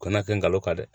Kana kɛ ngalon ta dɛ